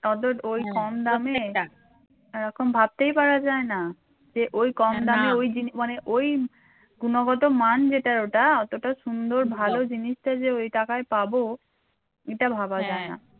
অত ওই কম দামে এরকম ভাবতেই পারা যায় না যে ওই কম দামে মানে ওই গুণগত মান যেটা ওটার অতটা সুন্দর ভালো জিনিসটা যে ওই টাকায় পাব এটা ভাবা যায় না